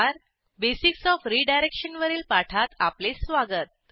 basics of redirection वरील पाठात आपले स्वागत